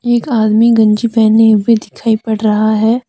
एक आदमी गंजी पहने हुए दिखाई पड़ रहा है।